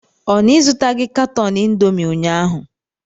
Ọ na ịzụtaghị katọn indomi ụnyaahụ?